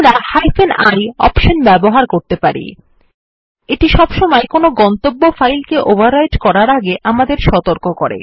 আমরা i option ব্যবহার করতে পারি এইটি সবসময় কোনো গন্তব্য ফাইল কে ওভাররাইটিং করার আগে আমাদের সতর্ক করে